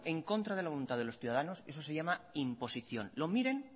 en contra de la voluntad de los ciudadanos eso se llama imposición lo miren